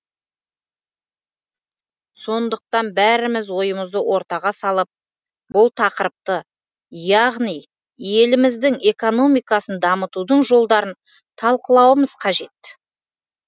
сондықтан бәріміз ойымызды ортаға салып бұл тақырыпты яғни еліміздің экономикасын дамытудың жолдарын талқылауымыз қажет